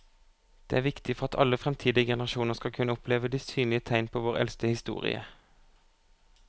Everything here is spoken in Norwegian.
Det er viktig for at alle fremtidige generasjoner skal kunne oppleve de synlige tegn på vår eldste historie.